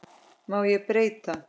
Má ég breyta?